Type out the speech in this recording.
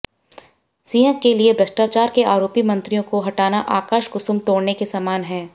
सिंह के लिए भ्रष्टाचार के आरोपी मंत्रियों को हटाना आकाश कुसुम तोड़ने के समान है